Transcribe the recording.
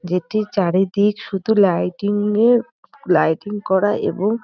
যেটি চারিদিক শুধু লাইটিং -এ লাইটিং করা এবং--